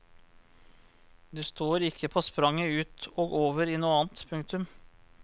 Du står ikke på spranget ut og over i noe annet. punktum